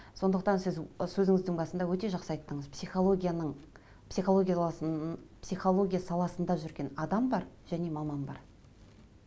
сондықтан сіз і сөзіңіздің басында өте жақсы айттыңыз психологияның психология саласында жүрген адам бар және маман бар